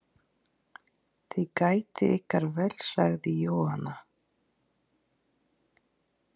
Þið gætið ykkar vel, sagði Jóhanna.